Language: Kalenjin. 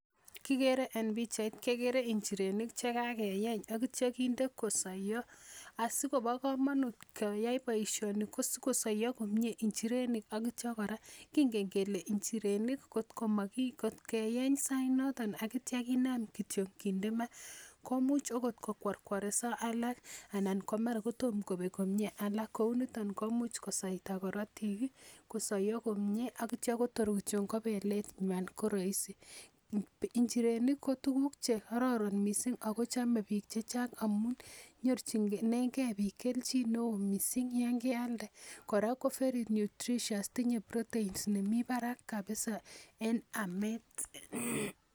Kikere en pichait kekere njirenik chekakeeny ak itya kinde kosoiyo asikobo komonut keyai boisioni ko sikosoiyo njirenik komie ak itya kora kingen kel njirenik kot ko maki kot keeny sait noton ak itya kinam kinde maa komuch akot kokworkworekso alak anan ko mara tom kobek komie alak kou niton komuch kosaita korotik ih kosoiyo komie ak itya tor kityo ko belet nywan ko roisi. Njirenik ko tuguk chekororon kot missing ako chome biik chechang amun nyorchinengee biik kelchin neoo missing yon kealde kora ko very nutritious tinye proteins nemii barak kabisa en amet